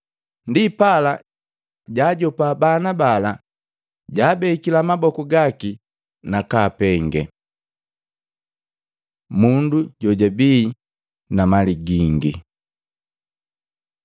Ndipala, jaajopa bana bala, jaabekila maboku gaki nakaapenge. Mundu jojabii na mali gingi Matei 19:16-30; Luka 18:18-30